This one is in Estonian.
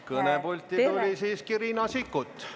Kõnepulti tuli siiski Riina Sikkut.